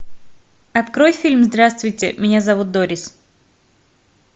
открой фильм здравствуйте меня зовут дорис